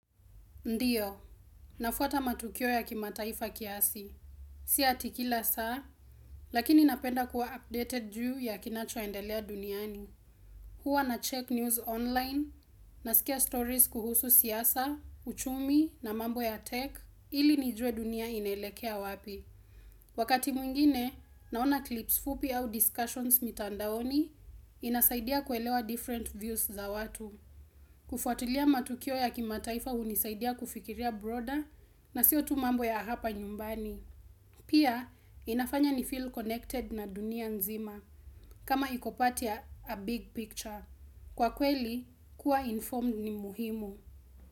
Ndiyo, nafuata matukio ya kimataifa kiasi. Si ati kila saa, lakini napenda kuwa updated juu ya kinachoendelea duniani. Huwa nacheck news online, nasikia stories kuhusu siasa, uchumi na mambo ya tech, ili nijue dunia inaelekea wapi. Wakati mwingine, naona clips fupi au discussions mitandaoni, inasaidia kuelewa different views za watu. Kufuatilia matukio ya kimataifa hunisaidia kufikiria broader na sio tu mambo ya hapa nyumbani. Pia inafanya nifeel connected na dunia nzima kama iko part ya a big picture. Kwa kweli, kuwa informed ni muhimu.